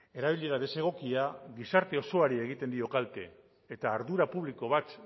erabilera desegokia gizarte osoari egiten dio kalte eta ardura publiko bat